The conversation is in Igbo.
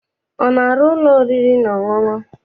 Ọ na-arụ ụlọ oriri na ọṅụṅụ?